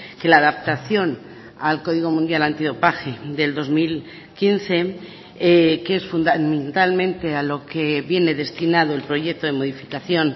que la adaptación al código mundial antidopaje del dos mil quince que es fundamentalmente a lo que viene destinado el proyecto de modificación